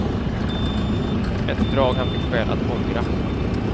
Ett drag han fick skäl att ångra.